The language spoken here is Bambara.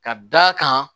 Ka d'a kan